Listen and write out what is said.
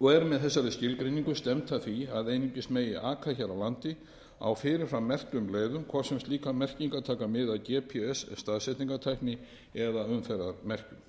og er með þessari skilgreiningu stefnt að því að einungis megi aka hér á landi á fyrir fram merktum leiðum hvort sem slíkar merkingar taka mið af gps staðsetningartækni eða umferðarmerkjum